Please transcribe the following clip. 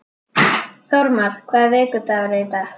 Þórmar, hvaða vikudagur er í dag?